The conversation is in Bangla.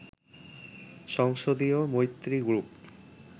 সংসদীয় মৈত্রী গ্রুপ